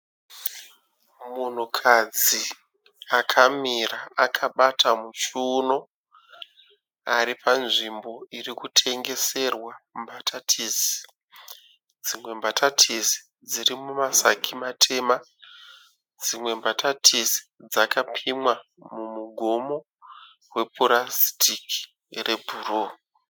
Munhukadzi akamira akabata muchiuno, ari panzvimbo iri kutengeserwa mbatatisi. Dzimwe mbatatisi dziri mumasaki matema, dzimwe mbatatisi dzakapimwa mumugomo wepurasitiki rebhuruu.